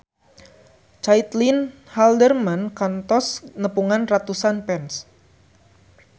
Caitlin Halderman kantos nepungan ratusan fans